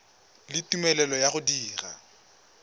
le tumelelo ya go dira